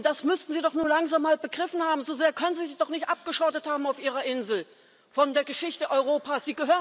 Das müssten Sie doch nun langsam mal begriffen haben, so sehr können Sie sich doch nicht abgeschottet haben auf Ihrer Insel von der Geschichte Europas.